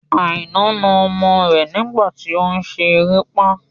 Aina na ọmọ rẹ nígbà tí òun ṣe erépá